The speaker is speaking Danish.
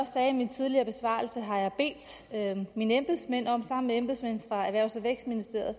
sagde i min tidligere besvarelse bedt mine embedsmænd om sammen med embedsmænd fra erhvervs og vækstministeriet at